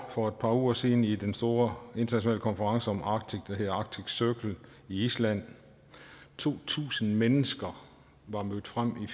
for et par uger siden i den store internationale konference om arktis der hedder arctic circle i island to tusind mennesker var mødt frem